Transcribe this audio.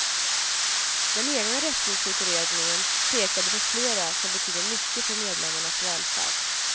Den egna rättviseutredningen pekade på flera som betyder mycket för medlemmarnas välfärd.